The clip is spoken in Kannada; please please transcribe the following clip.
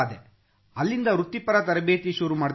ಅಲ್ಲಿಂದ ವೃತ್ತಿಪರ ತರಬೇತಿ ಶುರು ಮಾಡಿದೆ ಸರ್